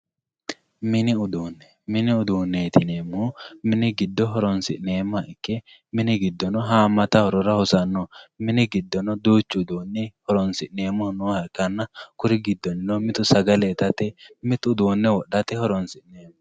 Mini uduune mini uduuneti yinemohu mini giddo horonsinemoha ikke mini gidono haamata horora hosano mini giddono haamata horonsinemonooha ikkana kuri gidonino mittu sagale itate mitu uduune wodhate horonsineemo.